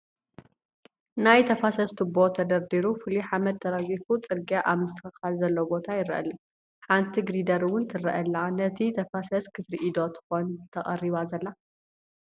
ናይ ተፋሰስ ትቦ ተደርዲሩ ፍሉይ ሓመድ ተራጊፉ ፅርግያ ኣብ ምስትኽኻል ዘሎ ቦታ ይረአ ኣሎ፡፡ ሓንቲ ጊሪደር ውን ትረአ ኣላ ነቲ ተፋሰስ ክትዕሪ ዶ ትኾን ተቐሪባ ዘላ?